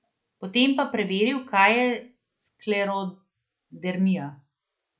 Potem pa preveril, kaj je sklerodermija.